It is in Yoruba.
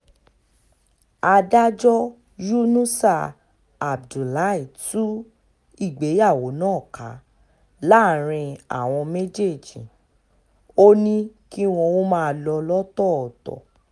adájọ́ yunusá abdullahi tú ìgbéyàwó náà ká láàrin àwọn méjèèjì ó ní kí wọn ó máa lọ lọ́tọ̀ọ̀tọ̀